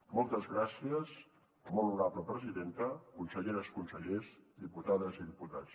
moltes gràcies molt honorable presidenta conselleres consellers diputades i diputats